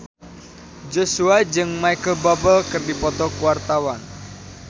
Joshua jeung Micheal Bubble keur dipoto ku wartawan